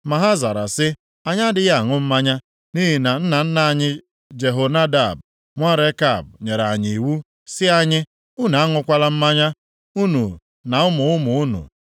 Ma ha zara sị, “Anyị adịghị aṅụ mmanya, nʼihi na nna nna anyị Jehonadab nwa Rekab nyere anyị iwu sị anyị, ‘Unu aṅụkwala mmanya, unu na ụmụ ụmụ unu.